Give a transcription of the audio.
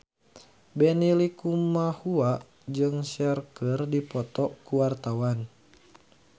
Benny Likumahua jeung Cher keur dipoto ku wartawan